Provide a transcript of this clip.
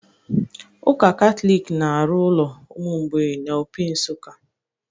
Ụka Katọlik na-arụ ụlọ ụmụ mgbei na Opi, Nsuka